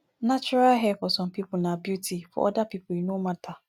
natural hair for some pipo na beauty for oda pipo e no matter